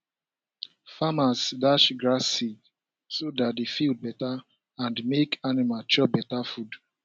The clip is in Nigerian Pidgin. farmers dash grass seed so dat the field better and make the animal chop better food